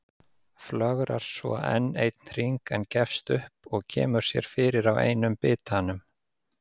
Flögrar svo enn einn hring en gefst upp og kemur sér fyrir á einum bitanum.